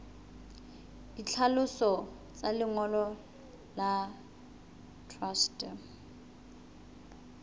ditlhaloso tsa lengolo la truste